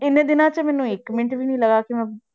ਇੰਨੇ ਦਿਨਾਂ 'ਚ ਮੈਨੂੰ ਇੱਕ ਮਿੰਟ ਵੀ ਨੀ ਲੱਗਾ